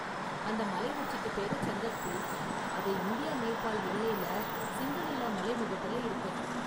அந்த மலை உச்சிக்கு பேரு சந்தக்பூ, அது இந்தியா நேபால் எல்லையில சிங்கலீலா மலைமுகட்டுல இருக்கு.